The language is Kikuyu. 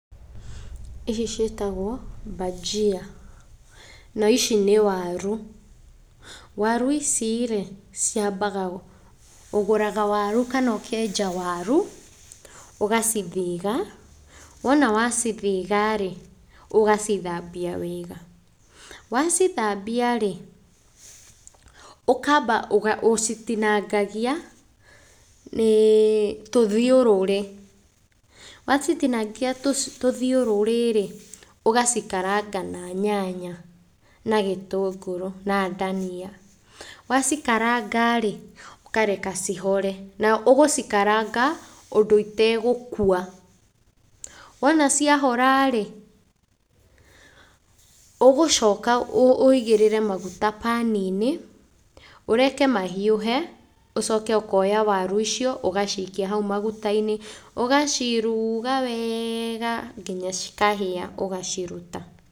Ici ciĩtagwo bhajia na ici nĩ waru. Waru ici rĩ, ciambaga, ũgũraga waru kana ũkenja waru, ũgacithiga, wona wacithiga rĩ, ũgacithambia wega. Wacithambia rĩ, ũkamba ũcitinangagia tũthiũrũrĩ, wacitinangia tũthiũrũrĩ rĩ, ũgacikaranga na nyanya na gĩtũngũrũ na ndania. Wacikaranga rĩ, ũkareka cihore na ũgũcikaranga ũndũ itegũkua. Wona ciahora rĩ, ũgũcoka ũigĩrĩre maguta pan-inĩ, ũreke mahiũhe ũcoke ũkoya waru icio ũgacikia hau maguta-inĩ ũgaciruga wega nginya cikahĩa ũgaciruta.